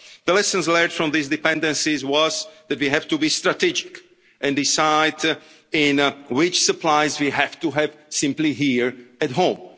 well. The lessons learned from these dependencies was that we have to be strategic and decide which supplies we have to have simply here at